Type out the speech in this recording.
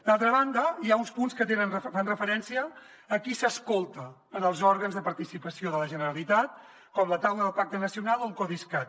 d’altra banda hi ha uns punts que fan referència a qui s’escolta en els òrgans de participació de la generalitat com la taula del pacte nacional o el codiscat